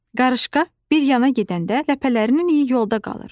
Qarışqa bir yana gedəndə ləpələrinin iyi yolda qalır.